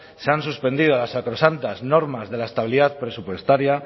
se han suspendido las sacrosantas normas de la estabilidad presupuestaria